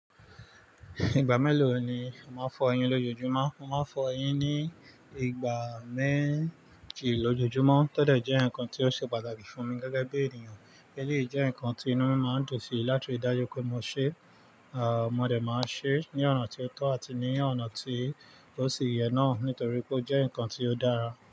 Ìgbà mélòó ni ó máa ń fọ eyín lójoojúmọ́? Ó máa ń fọ eyín ní ìgbà méjì lójoojúmọ́. Todẹ̀ jẹ́ nǹkan tí ó ṣe pàtàkì fún mi gẹ́gẹ́ bí ènìyàn. Eléyìí jẹ́ ǹnkan tí inú mi máa ń dùn sí láti rí dájú pé mo ṣe. Mo dẹ̀ máa n ṣe ní ọ̀nà tí ó tọ́ àti ní ọ̀nà tí ó sì yẹ náà nítorí pé ó jẹ́ ǹnkan tí ó dára.